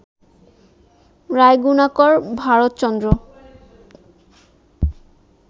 Raygunakar Bharatchandra